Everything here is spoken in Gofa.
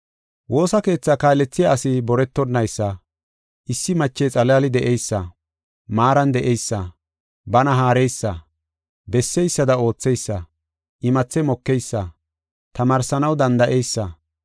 Woosa keethaa kaalethiya asi boretonaysa, issi mache xalaali de7eysa, maaran de7eysa, bana haareysa, besseysada ootheysa, imathe mokeysa, tamaarsanaw danda7eysa,